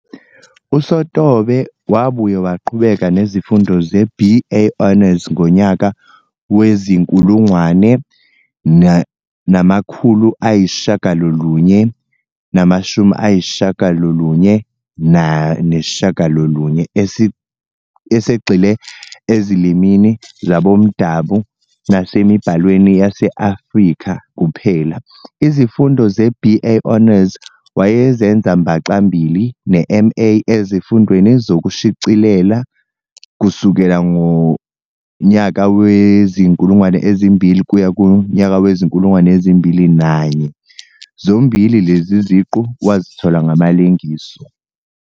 USotobe wabuye waqhubeka nezifundo ze-"BA Honors" ngonyaka wezi 1999 esegxile eziLimini zaboMdabu nasemiBhalweni yase-Afrika kuphela. Izifundo ze-"BA Honors" wayezenza mbaxa-mbili ne-MA eziFundweni zokuShiclila kusukela ngowezi-2000 kuya kowezi-2001 zombili lezi ziqu wazithola ngamalengiso.